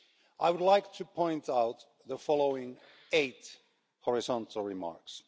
I would like to point out the following eight horizontal remarks.